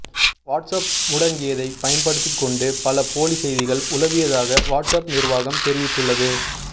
WhatsApp முடங்கியதை பயன்படுத்திக்கொண்டு பல போலி செய்திகள் உலவியதாக வாட்ஸ் அப் நிர்வாகம் தெரிவித்துள்ளது